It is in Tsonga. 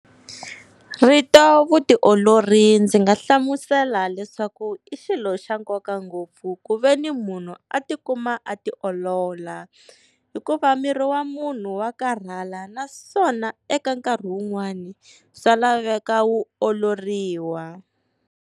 Rito vutiolori ndzi nga hlamusela leswaku i xilo xa nkoka ngopfu ku veni munhu a tikuma a tiolola. Hikuva miri wa munhu wa karhala naswona eka nkarhi wun'wani swa laveka wu oloriwa.